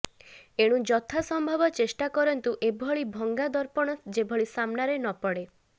ଏଣୁ ଯଥା ସମ୍ଭବ ଚେଷ୍ଟା କରନ୍ତୁ ଏଭଳି ଭଙ୍ଗା ଦର୍ପଣ ଯେଭଳି ସାମ୍ନାରେ ନ ପଡେ